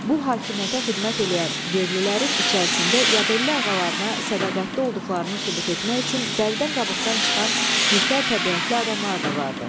Bu hakimiyyətə xidmət eləyən yerlilərin içərisində yadelli ağalarına sədaqətli olduqlarını sübut etmək üçün dəridən qabıqdan çıxan nökər təbiətli adamlar da vardı.